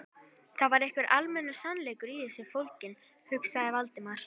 Það var einhver almennur sannleikur í þessu fólginn, hugsaði Valdimar.